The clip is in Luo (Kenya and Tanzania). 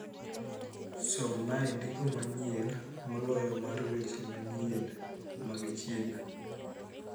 Somnae ndiko manyien moloyo mar weche manyien mag chien